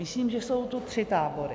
Myslím, že jsou tu tři tábory.